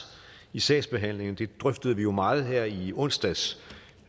i sagsbehandlingen det drøftede vi jo meget her i onsdags